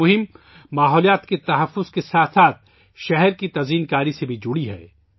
اس مہم کا تعلق ماحولیات کے تحفظ کے ساتھ ساتھ شہر کو خوبصورت بنانے سے بھی ہے